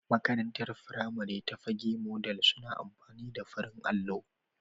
Makarantar firamari ta Fagge modal suna amfani da farin allo.